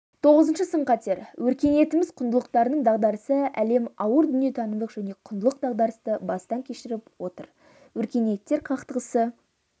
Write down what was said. тоғызыншы сын-қатер өркениетіміз құндылықтарының дағдарысы әлем ауыр дүниетанымдық және құндылық дағдарысты бастан кешіріп отыр өркениеттер қақтығысы